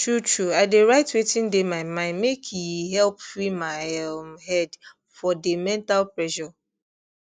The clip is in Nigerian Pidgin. truetrue i dey write wetin dey my mind makee help free my um head for dey mental pressure